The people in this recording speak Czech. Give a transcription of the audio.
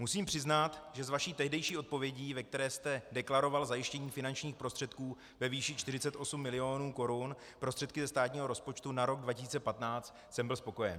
Musím přiznat, že z vaší tehdejší odpovědi, ve které jste deklaroval zajištění finančních prostředků ve výši 48 milionů korun, prostředky ze státního rozpočtu na rok 2015, jsem byl spokojen.